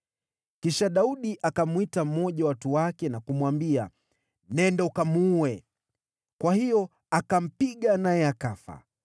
Kisha Daudi akamwita mmoja wa watu wake na kumwambia, “Nenda ukamuue!” Kwa hiyo akampiga, naye akafa.